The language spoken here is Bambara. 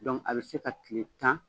Dɔnkuc a bɛ se ka tile tan.